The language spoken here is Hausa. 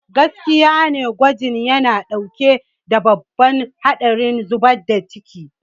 Gaskiya ne, gwajin yana ɗauke da babban haɗarin zubar da ciki.